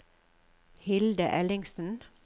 Hilde Ellingsen